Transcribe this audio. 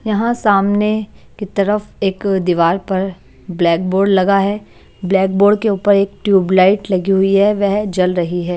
यहाँ सामने की तरफ एक दीवार पर ब्लैक बोर्ड लगा है ब्लैक बोर्ड के ऊपर एक ट्यूबलाइट लगी हुई है वह जल रही है।